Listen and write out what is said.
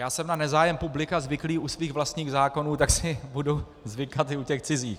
Já jsem na nezájem publika zvyklý u svých vlastních zákonů, tak si budu zvykat i u těch cizích.